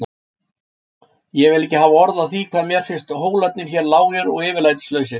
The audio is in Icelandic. Ég vil ekki hafa orð á því hvað mér finnst hólarnir hér lágir og yfirlætislausir.